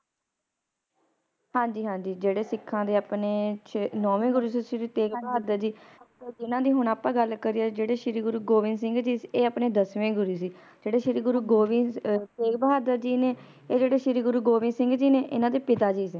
ਹਾਂਜੀ ਹਾਂਜੀ ਜਿਹੜੇ ਸਿੱਖਾਂ ਦੇ ਆਪਣੇ ਨੌਵੇਂ ਗੁਰੂ ਸੀ ਸ਼੍ਰੀ ਗੁਰੂ ਤੇਗ ਬਹਾਦਰ ਜੀ ਓਹਨਾ ਦੀ ਹੁਣ ਆਪਾ ਗੱਲ ਕਰੀਏ ਜਿਹੜੇ ਸ਼੍ਰੀ ਗੁਰੂ ਗੋਬਿੰਦ ਸਿੰਘ ਏ ਆਪਣੇ ਦਸਵੇਂ ਗੁਰੂ ਜਿਹੜੇ ਸ਼੍ਰੀ ਗੁਰੂ ਗੋਬਿੰਦ ਅ ਤੇਗ ਬਹਾਦਰ ਜੀ ਨੇ ਏ ਜਿਹੜੇ ਸ਼੍ਰੀ ਗੁਰੂ ਗੋਬਿੰਦ ਸਿੰਘ ਜੀ ਨੇ ਇਹਨਾਂ ਦੇ ਪਿਤਾ ਜੀ ਨੇ